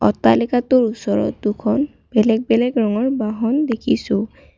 অট্টালিকাটোৰ ওচৰত দুখন বেলেগ বেলেগ ৰঙৰ বাহন দেখিছোঁ।